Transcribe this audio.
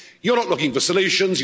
You're not looking for solutions.